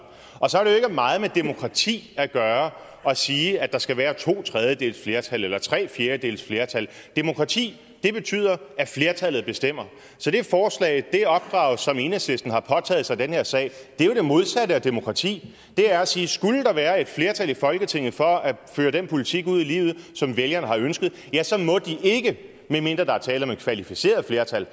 det meget med demokrati at gøre at sige at der skal være to tredjedeles flertal eller tre fjerdedeles flertal demokrati betyder at flertallet bestemmer så det forslag det opdrag som enhedslisten har påtaget sig i den her sag er jo det modsatte af demokrati det er at sige at skulle der være et flertal i folketinget for at føre den politik ud i livet som vælgerne har ønsket ja så må de ikke medmindre der er tale om et kvalificeret flertal